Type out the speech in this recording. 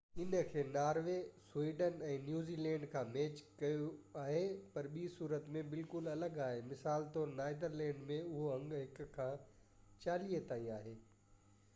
ان کي Norway, Sweden ۽ New Zealand کان match ڪيو آهي، پر ٻي صورت ۾ بلڪل الڳ آهي مثال طور نيدرلينڊز ۾ اهو انگ هڪ کان چاليهہ تائين آهي